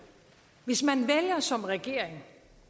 hvis man vælger som regering